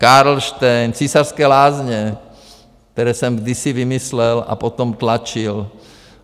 Karlštejn, Císařské lázně, které jsem kdysi vymyslel a potom tlačil.